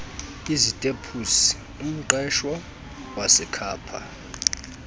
izitepusi umqeshwa wasekhapha